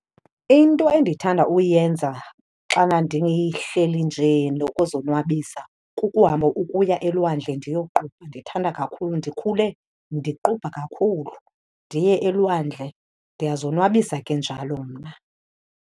Into endithanda uyenza xana ndihleli nje nokuzonwabisa kukuhamba ukuya elwandle ndiyoqubha, ndithanda kakhulu. Ndikhule ndiqubha kakhulu, ndiye elwandle. Ndiyazonwabisa ke njalo mna.